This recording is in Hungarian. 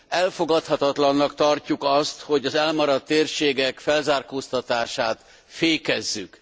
Elfogadhatatlannak tartjuk azt, hogy az elmaradt térségek felzárkóztatását fékezzük.